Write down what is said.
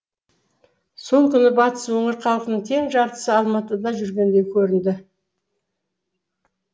сол күні батыс өңір халқының тең жартысы алматыда жүргендей көрінді